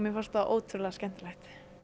fannst það ótrúlega skemmtilegt